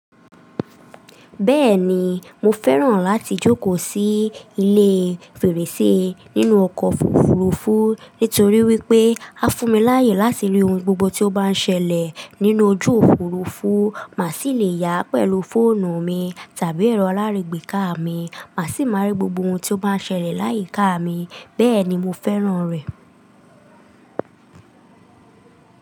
Bẹ́ẹ̀ni, mo fẹ́ràn láti jókòó sí ilé fèrèsé nínú ọkọ̀ òfurufú nítorí wípé, a fún mi láàyè láti rí ohun gbogbo tí ó bá ń ṣẹlẹ̀ nínú ojú òfurufú, màá sì le yà á pẹ̀lú fóònù mi tàbí ẹ̀rọ alárègbé ká mi, màá sì máa rí gbogbo ohun tí ó bá ń ṣẹlẹ̀ láyíká mi, bẹ́ẹ̀ni mo fẹ́ràn rẹ̀.